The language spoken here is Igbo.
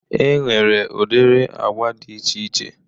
Enwere udiri agba dị iche iche